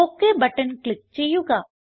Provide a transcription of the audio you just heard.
okay button click ചെയ്യുക